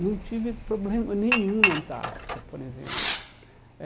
Não tive problema nenhum na Antártica, por exemplo. Eh